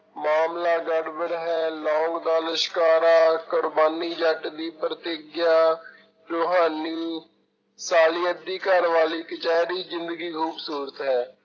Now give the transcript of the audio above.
ਮਾਮਲਾ ਗੜਬੜ ਹੈ, ਲੋਂਗ ਦਾ ਲਿਸ਼ਕਾਰਾ, ਕੁਰਬਾਨੀ ਜੱਟ ਦੀ, ਪ੍ਰਤਿਗਿਆ ਰੁਹਾਨੀ ਦੀ ਘਰ ਵਾਲੀ, ਕਚਿਹਰੀ, ਜ਼ਿੰਦਗੀ ਖੂਬਸੂਰਤ ਹੈ।